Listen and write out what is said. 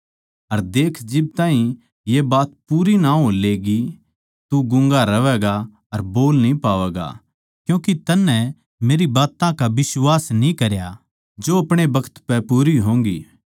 अर देख्ये जिब ताहीं ये बात पूरी ना हो लेंगी तू गूँगा रहैगा अर बोल न्ही पावैगा इस खात्तर कै तन्नै मेरी बात्तां का बिश्वास न्ही करया जो अपणे बखत पै पूरी होंगी